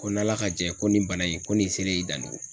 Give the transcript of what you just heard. Ko n'ala ka jɛ ye, ko nin bana in ko nin selen y'i dandu